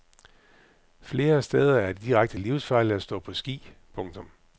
Flere steder er det direkte livsfarligt at stå på ski. punktum